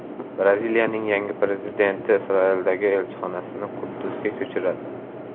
Braziliyaning yangi prezidenti Isroildagi elchixonasini Quddusga ko‘chiradi.